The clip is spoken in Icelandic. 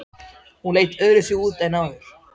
Hún leit öðruvísi út en áður.